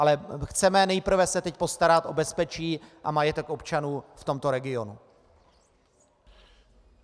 Ale chceme nejprve se teď postarat o bezpečí a majetek občanů v tomto regionu.